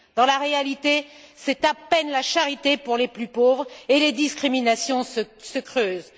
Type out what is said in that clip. Dans la réalité, c'est à peine la charité pour les plus pauvres et les discriminations se creusent.